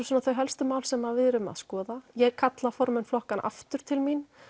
svona þau helstu mál sem við erum að skoða ég kalla formenn flokkanna aftur til mín